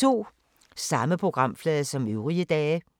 Samme programflade som øvrige dage